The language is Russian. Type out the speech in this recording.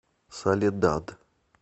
соледад